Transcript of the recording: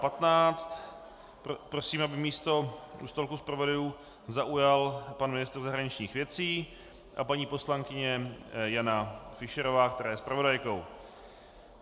Prosím, aby místo u stolku zpravodajů zaujali pan ministr zahraničních věcí a paní poslankyně Jana Fischerová, která je zpravodajkou.